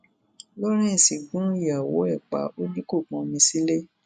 lawrence gun ìyàwó ẹ pa ò ní kó pọnmi sílẹ